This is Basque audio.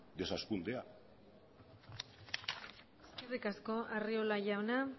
desazkundea eskerrik asko arriola jauna